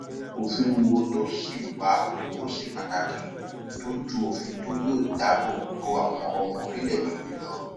òfin wo ló sì wà tó ṣe pàtàkì tó ju òfin tí yóò dáàbò bo àwọn ọmọ orílẹẹdé yìí lọ